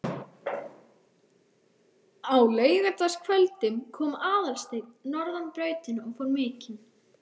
Á laugardagskvöldum kom Aðalsteinn norðan brautina og fór mikinn.